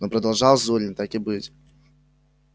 ну продолжал зурин так и быть